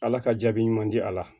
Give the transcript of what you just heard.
Ala ka jaabi ɲuman di a la